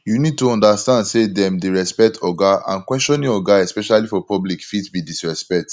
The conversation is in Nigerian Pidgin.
you need to understand sey dem dey respect oga and questioning oga especially for public fit be disrespect